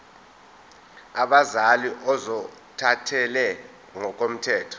abazali ozothathele ngokomthetho